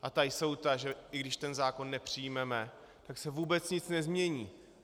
A ta jsou ta, že i když ten zákon nepřijmeme, tak se vůbec nic nezmění.